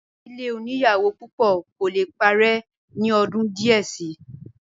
ìdílé oníyàwó púpọ̀ kò le parẹ́ ní ọdún díẹ̀ síi